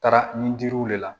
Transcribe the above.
Taara ni jiriw de la